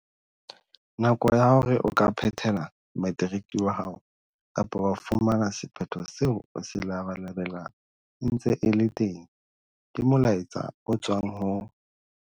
Nako ya hore o ka phethela materiki wa hao kapa wa fumana sephetho seo o se labalabelang e ntse e le teng, ke molaetsa o tswang ho